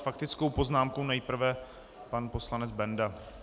S faktickou poznámkou nejprve pan poslanec Benda.